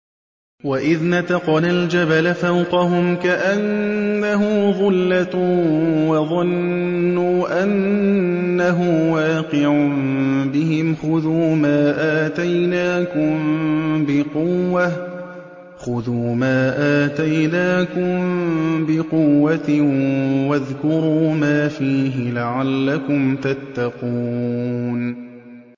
۞ وَإِذْ نَتَقْنَا الْجَبَلَ فَوْقَهُمْ كَأَنَّهُ ظُلَّةٌ وَظَنُّوا أَنَّهُ وَاقِعٌ بِهِمْ خُذُوا مَا آتَيْنَاكُم بِقُوَّةٍ وَاذْكُرُوا مَا فِيهِ لَعَلَّكُمْ تَتَّقُونَ